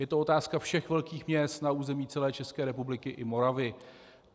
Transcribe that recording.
Je to otázka všech velkých měst na území celé České republiky i Moravy.